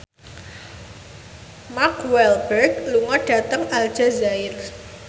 Mark Walberg lunga dhateng Aljazair